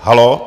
Haló?